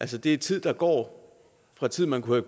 det er tid der går fra tid man kunne